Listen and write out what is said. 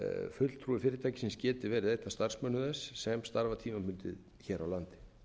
fulltrúi fyrirtækisins geti verið einn af starfsmönnum þess sem starfa tímabundið hér á landi